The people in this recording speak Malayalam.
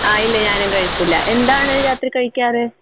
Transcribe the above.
ആ ഇല്ല. ഞാനും കഴിച്ചില്ല. എന്താണ് രാത്രി കഴിക്കാറ്?